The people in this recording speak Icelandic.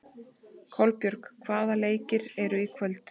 Kolbjörg, hvaða leikir eru í kvöld?